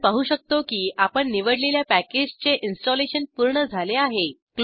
आपण पाहू शकतो की आपण निवडलेल्या पॅकेजचे इंस्टॉलेशन पूर्ण झाले आहे